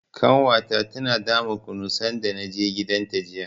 Ƙanwata tana dama kunu sanda na je gidanta jiya.